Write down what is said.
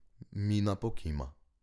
Mina pokima.